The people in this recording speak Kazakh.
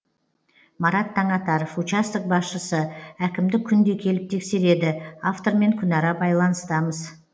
марат таңатаров участок басшысы әкімдік күнде келіп тексереді автормен күнара байланыстамыз